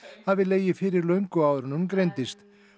hafi legið fyrir löngu áður en hún greindist